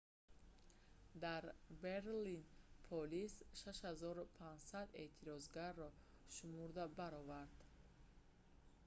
дар берлин полис 6500 эътирозгарро шумурда баровард